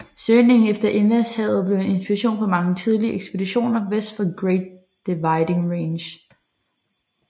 Søgningen efter indlandshavet blev en inspiration for mange tidlige ekspeditioner vest for Great Dividing Range